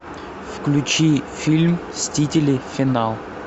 включи фильм мстители финал